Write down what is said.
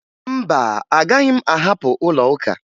Mba, agaghị m ahapụ ụlọụka